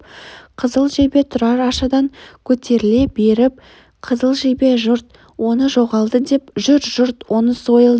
қызыл жебе тұрар ашадан көтеріле беріп қызыл жебе жұрт оны жоғалды деп жүр жұрт оны сойылды